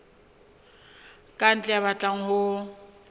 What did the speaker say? ka ntle ya batlang ho